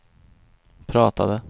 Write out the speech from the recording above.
pratade